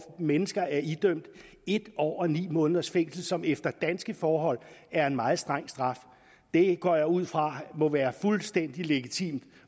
mennesker er i dømt en år og ni måneders fængsel som efter danske forhold er en meget streng straf det går jeg ud fra må være fuldstændig legitimt